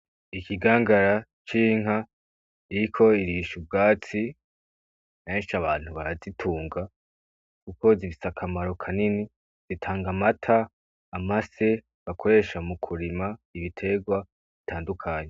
Ikigangara c'inka, iriko irisha ubwatsi, kenshi abantu barazitunga, kuko zifise akamaro kanini, zitanga amata, amase bakoresha mu kurima ibiterwa bitandukanye.